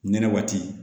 Nɛnɛ waati